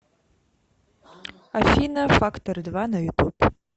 афина фактор два на ютуб